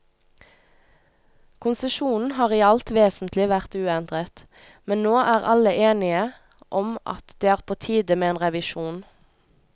Konsesjonen har i alt vesentlig vært uendret, men nå er alle enige om at det er på tide med en revisjon.